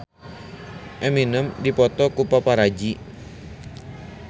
Eminem dipoto ku paparazi